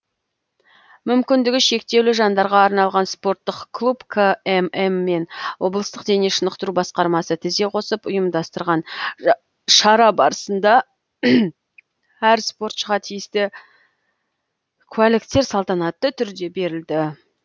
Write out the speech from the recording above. мүмкіндігі шектеулі жандарға арналған спорттық клуб кмм мен облыстық дене шынықтыру басқармасы тізе қосып ұйымдастырған шара барсында әр спортшыға тиісті куәліктер салтанатты түрде берілді